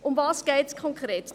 Worum geht es konkret?